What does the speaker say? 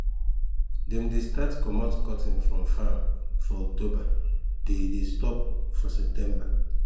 dem de start comot cotton from farm for october they dey stop for december